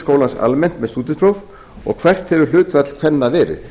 skólans almennt með stúdentspróf og hvert hefur hlutfall kvenna verið